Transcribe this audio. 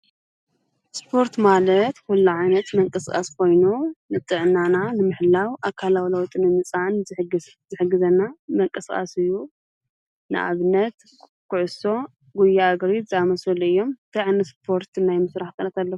እስፖርት ማለት ኲሉ ዓይነት መንቀሥቃስኾይኖ ንጥዕናና ንምሕላው ኣካላውላዊጥኒ ምፃን ዘሕግዘና መንቀሥቓስዩ ንኣብነት ክዑሶ፣ ጕያ ግሪት ዛመሶሊ እዮም እንትይ ዓይነት እስፖርት እናይ ምሥራህ ክእለለት ኣሎ።